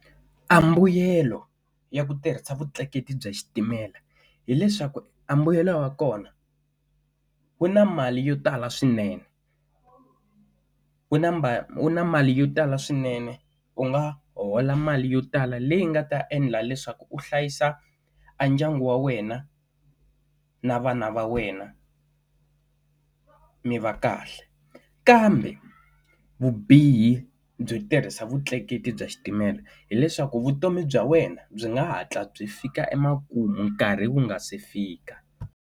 Ambuyelo ya ku tirhisa vutleketli bya xitimela hileswaku a mbuyelo wa kona, wu na mali yo tala swinene wu na ma wu na mali yo tala swinene u nga hola mali yo tala leyi nga ta endla leswaku u hlayisa a ndyangu wa wena na vana va wena mi va kahle. Kambe vubihi byo tirhisa vutleketli bya xitimela, hileswaku vutomi bya wena byi nga hatla byi fika emakumu nkarhi wu nga se fika.